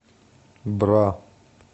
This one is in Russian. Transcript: бра